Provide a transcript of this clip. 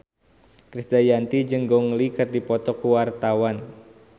Krisdayanti jeung Gong Li keur dipoto ku wartawan